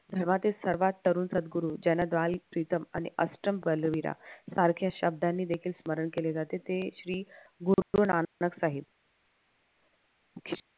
धर्मातील सर्वात तरुण सद्गुरू प्रीतम आणि अष्टम बलवीरा सारख्या शब्दांनी देखील स्मरण केले जाते ते श्री गुरुनानक साहेब